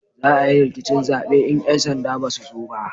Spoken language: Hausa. Za a yi rikicin zabe in 'yan sanda ba su zo ba